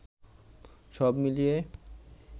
সব মিলিয়ে